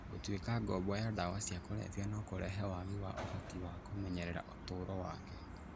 Gũtuĩka ngombo ya ndawa cia kũrebia no kũrehe waagi wa ũhoti wa kũmenyerera ũtũũro wake.